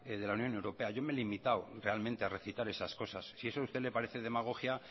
de la unión europea yo me he limitado realmente a recitar esas cosas si eso a usted le parece demagogia